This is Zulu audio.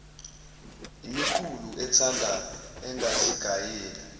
imiqulu ethanda engazigayela